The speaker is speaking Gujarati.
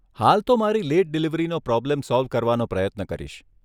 હાલ તો મારી લેટ ડિલિવરીનો પ્રોબ્લેમ સોલ્વ કરવાનો પ્રયત્ન કરીશ.